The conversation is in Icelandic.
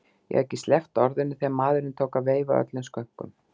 Ég hafði ekki sleppt orðinu þegar maðurinn tók að veifa öllum skönkum.